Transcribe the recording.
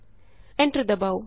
enter ਦਬਾਉ